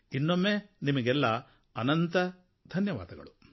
ಇನ್ನೊಮ್ಮೆ ನಿಮಗೆಲ್ಲ ಅನಂತ ಧನ್ಯವಾದಗಳು